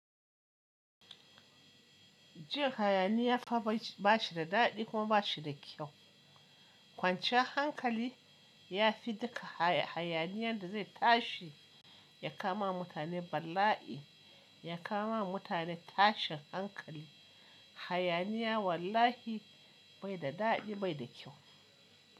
Jin hayaniya fa ba shi da daɗi kuma ba shi da kyau. Kwanciyar hankali ya fi duka hayaniyan da zai tashi ya kama mutane bala'i, ya kama mutane tashin hankali. Hayaniya wallahi bai da daɗi bai da kyau.